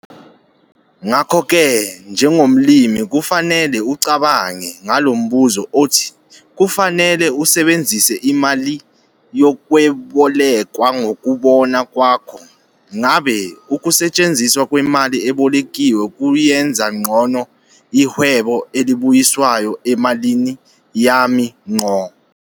Ngakho ke, njengomlimi, kufanele ucabange ngalo mbuzo othi kufanele usebenzise imali yokwebolekwa ngokubona kwakho, ngabe ukusetshenziswa kwemali ebolekiwe kuyenza ngcono-i-rate of return emalini yami ngqo?